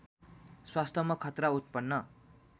स्वास्थ्यमा खतरा उत्पन्न